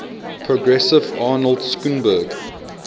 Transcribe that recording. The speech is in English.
progressive arnold schoenberg